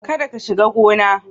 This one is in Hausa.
Kada ka shiga gona